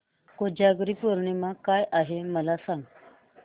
कोजागिरी पौर्णिमा काय आहे मला सांग